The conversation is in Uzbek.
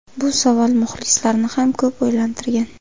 Bu savol muxlislarni ham ko‘p o‘ylantirgan.